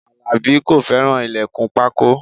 Alabi kò fẹ́ràn ilẹkun pákó